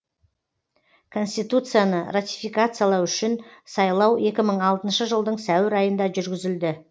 конституцияны ратификациялау үшін сайлау екі мың алтыншы жылдың сәуір айында жүргізілді